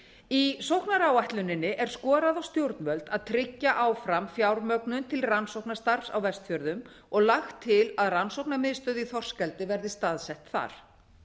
í sóknaráætluninni er skorað á stjórnvöld að tryggja áfram fjármögnun til rannsóknastarfs á vestfjörðum og lagt til að rannsóknamiðstöð í þorskeldi verði staðsett þar